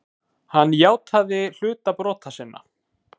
Hann játaði hluta brota sinna.